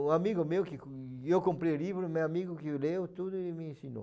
Um amigo meu que com... Eu comprei o livro, meu amigo que leu tudo e me ensinou.